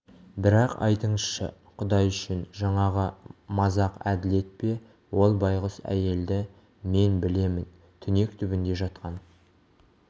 бірақ айтыңызшы құдай үшін жаңағы мазақ әділет пе ол байғұс әйелді мен білемін түнек түбінде жатқан